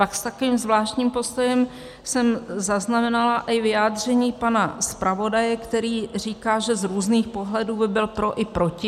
Pak s takovým zvláštním postojem jsem zaznamenala i vyjádření pana zpravodaje, který říká, že z různých pohledů by byl pro i proti.